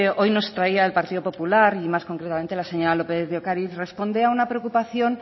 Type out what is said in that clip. hoy nos traía el partido popular y más concretamente la señora lópez de ocariz responde a una preocupación